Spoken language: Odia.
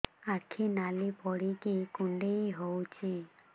ଆଖି ନାଲି ପଡିକି କୁଣ୍ଡେଇ ହଉଛି